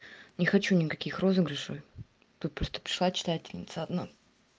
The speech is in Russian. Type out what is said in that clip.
не хочу никаких розыгрышей тут просто пришла читательница одна